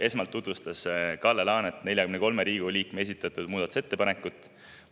Esmalt tutvustas Kalle Laanet 43 Riigikogu liikme esitatud muudatusettepanekut.